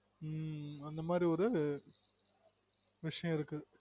உம் அந்த மாதிரி ஒரு விசயம் இருக்கு